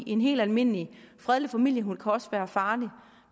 en helt almindelig fredelig familiehund kan også være farlig